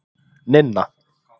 Ninna